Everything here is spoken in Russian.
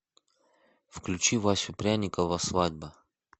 включи васю пряникова свадьба